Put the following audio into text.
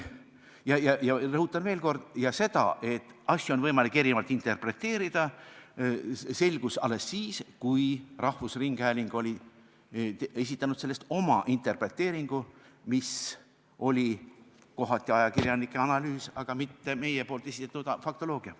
Ja ma rõhutan veel kord, et see, et asju on võimalik erinevalt interpreteerida, selgus alles siis, kui rahvusringhääling oli esitanud oma interpreteeringu, mis oli kohati ajakirjanike analüüs, mitte meie esitatud faktoloogia.